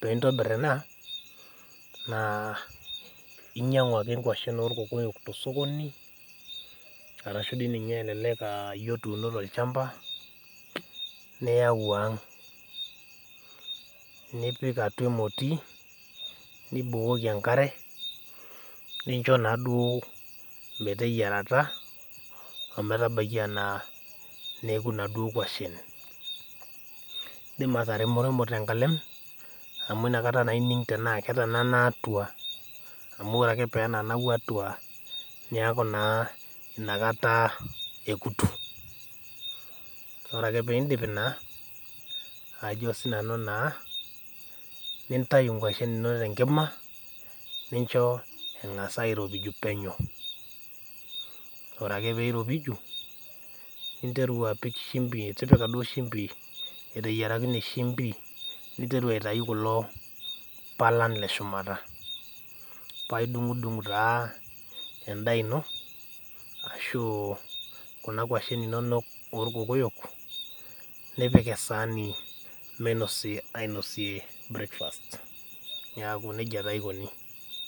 piintobirr ena naa inyang'u ake inkuashin orkokoyok tosokoni arashu dii ninye elelek aah iyie otuuno tolchamba niyau ang' nipik atua emoti nibukoki enkare nincho naduo meteyierata ometabaiki anaa neoku naduo kuashin. Indim ataremremo tenkalem amu inakata naaining' tenaake etanana atua amu ore ake peenanau atua neaku naa inakata ekutu. Ore ake piindip ina ajo sinanu naa piintayu inkuashin inonok tenkima nincho eng'as airopiju penyo. Ore ake peeiropiju, ninteru apik shimbi tipika duo shimbi eteyierakine shimbi ninteru aitau kulo palan leshumata paidung'dung taa endaa ino ashuu kuna kuashin inonok orkokoyok nipik esaani meinosi ainosie breakfast neaku neija taa eikoni.